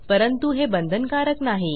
परंतु हे बंधनकारक नाही